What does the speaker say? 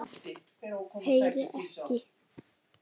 Heyri ekki.